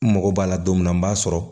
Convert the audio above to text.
N mago b'a la don min na n b'a sɔrɔ